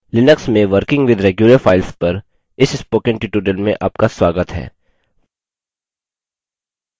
Linux में working with regular files पर इस spoken tutorial में आपका स्वागत है